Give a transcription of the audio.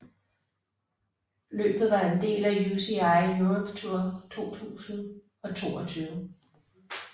Løbet var en del af UCI Europe Tour 2022